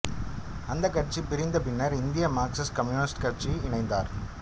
அந்த கட்சி பிரிந்த பின்னர் இந்திய மார்க்சிஸ்ட் கம்யூனிஸ்ட் கட்சியில் இணைந்தார்